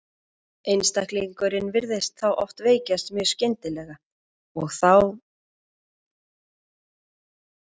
Einstaklingurinn virðist þá oft veikjast mjög skyndilega og eru þá einkennin mjög áberandi.